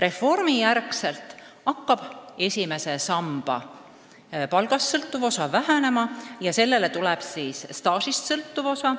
Reformi järel hakkab esimese samba palgast sõltuv osa vähenema ja sellele tuleb lisaks staažist sõltuv osa.